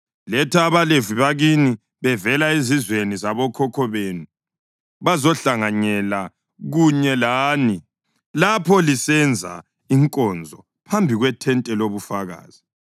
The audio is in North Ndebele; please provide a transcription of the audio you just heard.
Letha abaLevi bakini bevela ezizwaneni zabokhokho benu bazohlanganyela kunye lani bakuphathise wena lamadodana akho lapho lisenza inkonzo phambi kwethente lobufakazi.